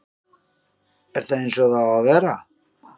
er það eins og það á að vera?